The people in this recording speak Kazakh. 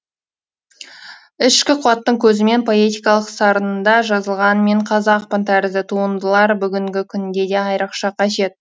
ішкі қуаттың көзімен поэтикалық сарында жазылған мен қазақпын тәрізді туындылар бүгінгі күнде де айырықша қажет